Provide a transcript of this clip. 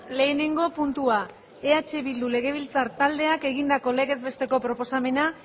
lehenengo puntua eh bildu legebiltzar taldeak egindako legez besteko proposamena